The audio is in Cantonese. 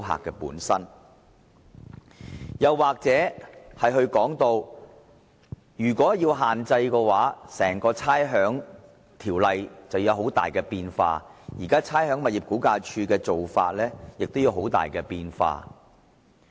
其二，如果要施加限制，整項《差餉條例》便會出現重大變化，連差餉物業估價署的做法亦會有很大變化。